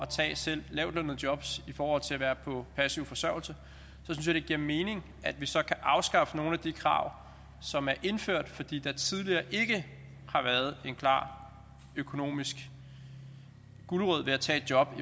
tage selv lavtlønnede jobs i forhold til at være på passiv forsørgelse det giver mening at vi så kan afskaffe nogle af de krav som er indført fordi der tidligere ikke har været en klar økonomisk gulerod ved at tage et job